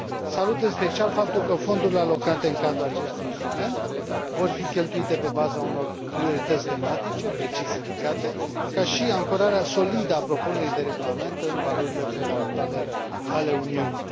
Salut, în special, faptul că fondurile alocate în cadrul acestui instrument vor fi cheltuite pe baza unor priorități tematice precis indicate, ca și ancorarea solidă a propunerii de regulament în valorile fundamentale ale Uniunii.